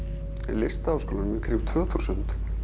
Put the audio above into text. Listaháskólanum í kringum tvö þúsund